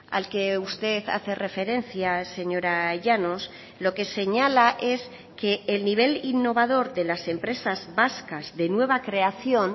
al que usted hace referencia señora llanos lo que señala es que el nivel innovador de las empresas vascas de nueva creación